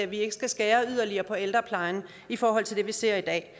vi ikke skal skære yderligere på ældreplejen i forhold til det vi ser i dag